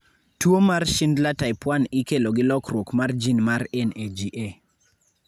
Tuwo mar Schindler type 1 ikelo gi lokruok mar gene mar NAGA.